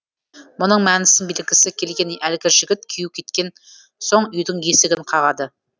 мұның мәнісін білгісі келген әлгі жігіт күйеуі кеткен соң үйдің есігін қағады